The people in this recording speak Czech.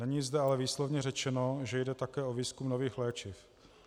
Není zde ale výslovně řečeno, že jde také o výzkum nových léčiv.